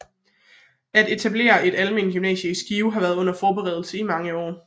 At etablere et almen gymnasium i Skive havde været under forberedelse i mange år